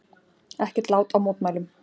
Ekkert lát á mótmælum